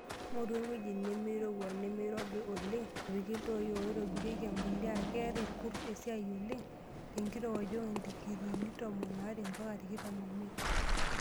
Ng'oru engweji nemei rowua nemeirobi oleng' napiki iltoi oitobiriek embuliya. Kees irkurt esiai oleng' tenkirowuaj o ndikiriini tomon are mpaka tikitam omiet.